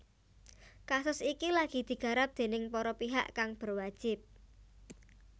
Kasus iki lagi digarap déning para pihak kang berwajib